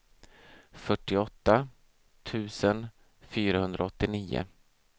fyrtioåtta tusen fyrahundraåttionio